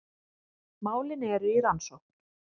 Málin eru í rannsókn